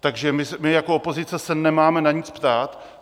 Takže my jako opozice se nemáme na nic ptát?